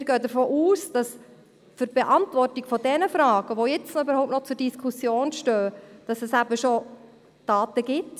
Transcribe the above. Wir gehen davon aus, dass es zur Beantwortung derjenigen Fragen, die jetzt überhaupt noch zur Diskussion stehen, eben bereits Daten gibt.